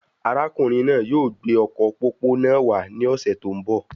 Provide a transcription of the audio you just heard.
Arákùnrin náà yóò gbé ọkọ pópó náà wà ní ọsẹ tó n bọ